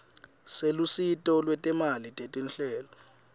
selusito lwetimali tetinhlelo